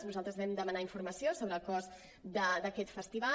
nosaltres vam demanar informació sobre el cost d’aquest festival